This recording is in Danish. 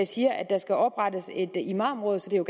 siger at der skal oprettes et imamråd så det er